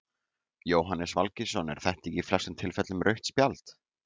Jóhannes Valgeirsson er þetta ekki í flestum tilfellum rautt spjald?